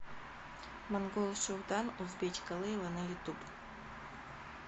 монгол шуудан узбечка лейла на ютуб